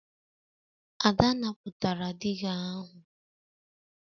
Ada napụtara diga ahụ